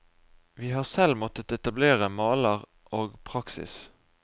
Vi har selv måttet etablere maler og praksis.